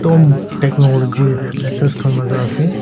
technology letters khan laga ase.